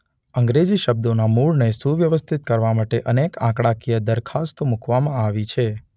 અંગ્રેજી શબ્દોનાં મૂળને સુવ્યવસ્થિત કરવા માટે અનેક આંકડાકીય દરખાસ્ત મૂકવામાં આવી છે.